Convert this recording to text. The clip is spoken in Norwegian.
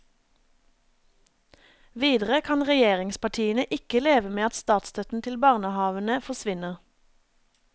Videre kan regjeringspartiene ikke leve med at statsstøtten til barnehavene forsvinner.